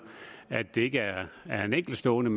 at det ikke er en enkeltstående